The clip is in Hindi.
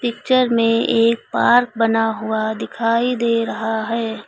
पिक्चर में एक पार्क बना हुआ दिखाई दे रहा है।